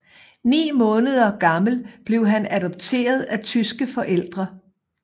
Ni måneder gammel blev han adopteret af tyske forældre